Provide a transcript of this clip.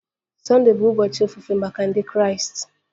Sunday bụ ụbọchị ofufe maka Ndị Kraịst